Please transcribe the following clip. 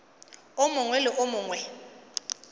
o mongwe le o mongwe